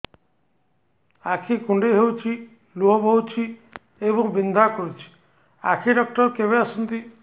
ଆଖି କୁଣ୍ଡେଇ ହେଉଛି ଲୁହ ବହୁଛି ଏବଂ ବିନ୍ଧା କରୁଛି ଆଖି ଡକ୍ଟର କେବେ ଆସନ୍ତି